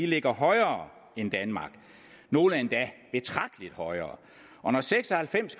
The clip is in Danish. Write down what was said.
ligger højere end danmark nogle endda betragteligt højere og når seks og halvfems